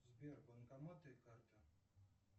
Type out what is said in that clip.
сбер банкоматы и карта